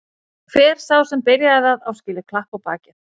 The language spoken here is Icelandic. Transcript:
Hver sá sem byrjaði það á skilið klapp á bakið.